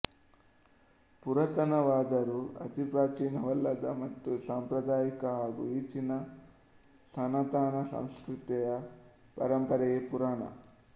ಪುರಾತನವಾದರೂ ಅತಿಪ್ರಾಚೀನವಲ್ಲದ ಮತ್ತು ಸಾಂಪ್ರದಾಯಿಕ ಹಾಗೂ ಈಚಿನ ಸನಾತನ ಸಂಸ್ಕೃತಿಯ ಪರಂಪರೆಯೇ ಪುರಾಣ